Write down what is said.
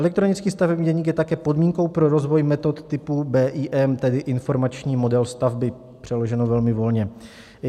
Elektronický stavební deník je také podmínkou pro rozvoj metod typu BIM, tedy informační model stavby - přeloženo velmi volně.